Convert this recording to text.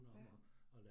Ja